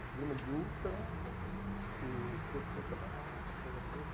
Problema de úlcera, uhum, e teve que ser operado, aquela coisa toda.